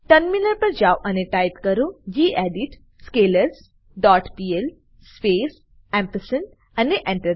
terminal પર જાઓ અને ટાઈપ કરો gedit scalers dot pl space અને Enter